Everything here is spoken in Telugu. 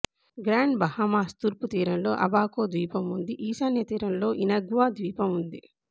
గ్రాండ్ బహామాస్ తూర్పు తీరంలో అబాకో ద్వీపం ఉందిఈశాన్యతీరంలో ఇనగ్వా ద్వీపం ఉంది